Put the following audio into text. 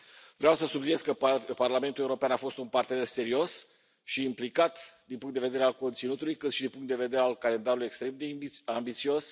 Vreau să subliniez că Parlamentul European a fost un partener serios și implicat din punctul de vedere al conținutului, ca și din punctul de vedere al calendarului extrem de ambițios.